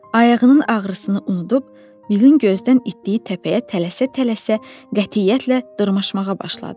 Ayağının ağrısını unudub, Bilin gözdən itdiyi təpəyə tələsə-tələsə qətiyyətlə dırmaşmağa başladı.